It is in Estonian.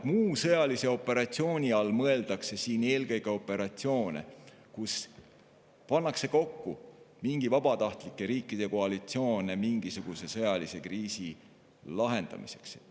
Muu sõjalise operatsiooni all mõeldakse siin eelkõige operatsioone, kus pannakse kokku mingi vabatahtlike riikide koalitsioon mingisuguse sõjalise kriisi lahendamiseks.